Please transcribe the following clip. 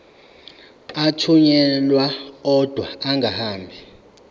athunyelwa odwa angahambi